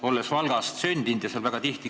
Olen Valgas sündinud ja käin seal väga tihti.